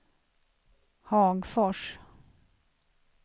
Hagfors